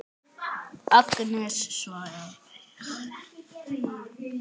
Agnes svarar.